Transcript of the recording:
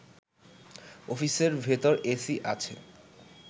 অফিসের ভেতর এসি আছে